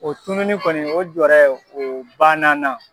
O tununi kɔni o jɔɔrɛ o bann'an na.